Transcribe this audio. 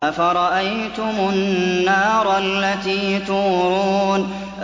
أَفَرَأَيْتُمُ النَّارَ الَّتِي تُورُونَ